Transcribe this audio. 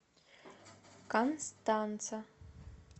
констанца